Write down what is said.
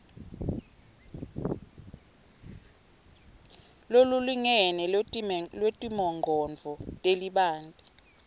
lolulingene lwetimongcondvo letibanti